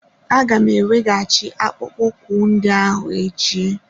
Aga m eweghachi akpụkpọ ụkwụ ndị ahụ echi.